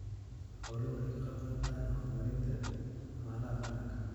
Xooluhu waxay ka qayb qaataan horumarinta dhaqaalaha qaranka.